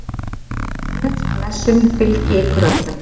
Guðs blessun fylgi ykkur öllum.